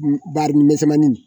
Barinin misɛnmanin